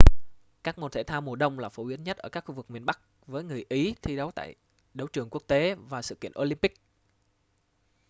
các môn thể thao mùa đông là phổ biến nhất ở các khu vực miền bắc với người ý thi đấu tại đấu trường quốc tế và sự kiện olympic